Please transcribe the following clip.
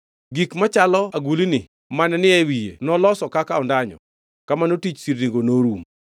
Gik machalo agulni mane ni e wiye nolosi kaka ondanyo. Kamano tich sirnigo norumo.